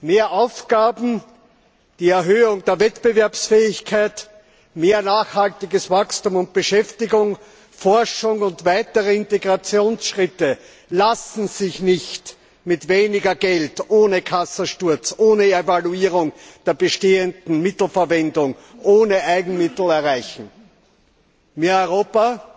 Mehr Aufgaben, die Erhöhung der Wettbewerbsfähigkeit, mehr nachhaltiges Wachstum, mehr Beschäftigung, mehr Forschung und weitere Integrationsschritte lassen sich nicht mit weniger Geld, ohne Kassensturz, ohne Evaluierung der bestehenden Mittelverwendung, ohne Eigenmittel erreichen. Mehr Europa